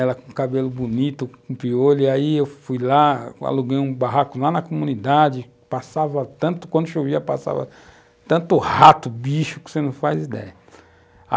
Ela com cabelo bonito, com piolho, e aí eu fui lá, aluguei um barraco lá na comunidade, passava tanto, quando chovia passava tanto rato, bicho, que você não faz ideia.